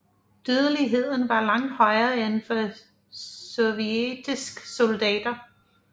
Dødeligheden var langt højere end for sovjetiske soldater